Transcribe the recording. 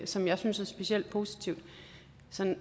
som jeg synes er specielt positivt